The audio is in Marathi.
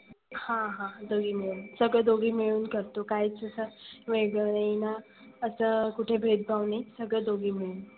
हा हा दोघी मिळून. सगळ दोघी मिळून करतो काय तस वेगळ नाही ना असं कुठे भेदभाव नाही. सगळ दोघी मिळून.